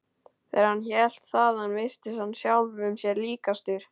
Þegar hann hélt þaðan virtist hann sjálfum sér líkastur.